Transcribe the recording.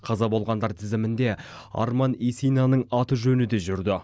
қаза болғандар тізімінде арман исинаның аты жөні де жүрді